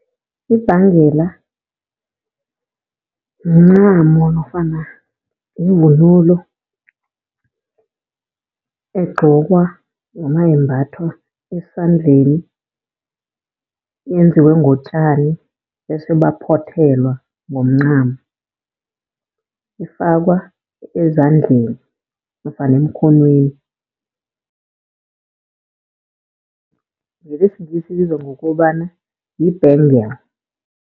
Ibhengela mncamo nofana yivunulo egqokwa noma yembathwa esandleni. Yenziwe ngotjani bese baphothelwa ngomncamo, ifakwa ezandleni nofana emkhonweni. NgesiNgisi ibizwa ngokobana yi-bangle.